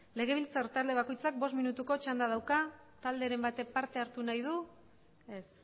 legebiltzar talde bakoitzak bost minutuko txanda dauka talderen batek parte hartu nahi du ez